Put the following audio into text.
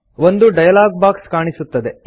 ಒಂದು dialog box ಕಾಣಿಸುತ್ತದೆ